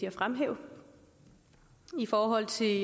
at fremhæve i forhold til